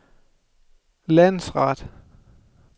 landsret